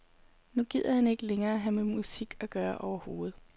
Nu gider han ikke længere have med musik at gøre overhovedet.